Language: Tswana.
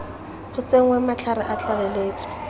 go tsenngwe matlhare a tlaleletso